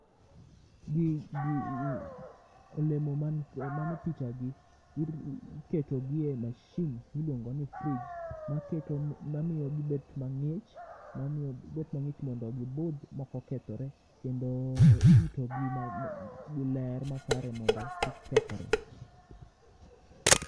olemo ma ne picha gi iketo gi e masin miluongo ni fridge maketo mamiyo gibet mangich gibet mangich mondo gibudh mokokethore gi ler makare mondo kik kethre.